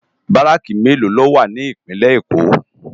Bàráki méló ló wá ni Ipinlè Ékó?